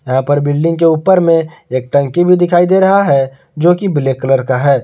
यहां पर बिल्डिंग के ऊपर में एक टंकी भी दिखई दे रहा है जो कि ब्लैक कलर का है।